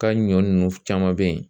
Ka ɲɔ nunnu caman be yen